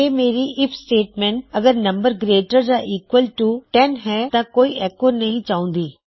ਫਿਰ ਮੇਰੀ if statement ਅਗਰ ਨਮ ਗਰੇਟਰ ਯਾ ਈਕਵਲ ਟੂ 10 ਹੈ ਤਾਂ ਮੈਂ ਕੋਈ ਐੱਕੋ ਨਹੀ ਚਾਹੁੰਦਾ